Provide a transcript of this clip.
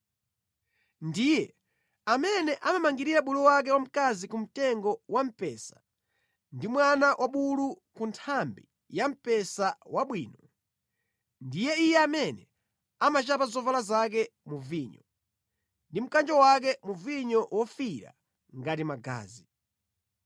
Ndiye amene amamangirira bulu wake wamkazi kumtengo wa mpesa, ndi mwana wa bulu ku nthambi ya mpesa wabwino. Ndi iye amene amachapa zovala zake mu vinyo; ndi mkanjo wake mu vinyo wofiira ngati magazi.